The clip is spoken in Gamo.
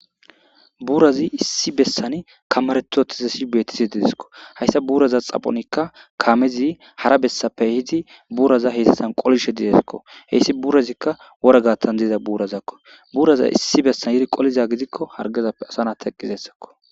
buurazi issi bessan kamaretotizassi beetisi dideskko hayssa buuraza xaphonikka kaamezi hara bessappe hidi buuraza heyssathan qolishe dideskko heyssi buurazikka wora gattan diiza buurazakko buuraza issi bessan yiri qoliza gidikko hargezappe asana teqqizessakko